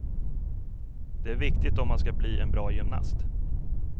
Det är viktigt om man ska bli en bra gymnast.